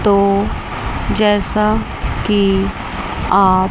तो जैसा की आप--